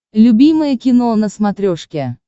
любимое кино на смотрешке